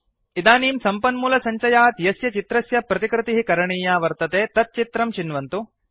इदनीं सम्पन्मूलसञ्चयात् यस्य चित्रस्य प्रतिकृतिः करणीया वर्तते तत् चित्रं चिन्वन्तु